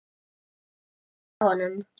Eða var hún að stríða honum?